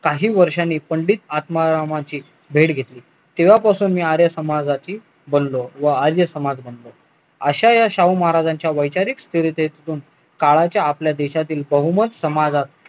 काही वर्षांनी पंडित आत्मारामाचे भेट घेतली तेव्हापासून मी आर्य समाजची बोलो व आर्य समाज अश्या या शाहू महाराजांच्या वैचारिक काळाच्या आपल्या देशातील बहुमत समाज